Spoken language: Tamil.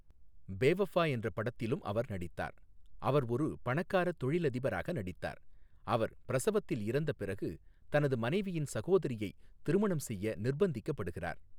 பேவஃபா என்ற படத்திலும் அவர் நடித்தார், அவர் ஒரு பணக்கார தொழிலதிபராக நடித்தார், அவர் பிரசவத்தில் இறந்த பிறகு தனது மனைவியின் சகோதரியை திருமணம் செய்ய நிர்பந்திக்கப்படுகிறார்.